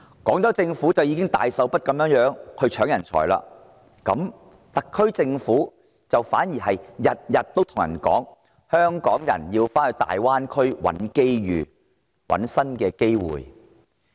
廣州市政府斥巨資搶奪人才之際，特區政府反而天天告訴大家，香港人要到大灣區尋找新機會。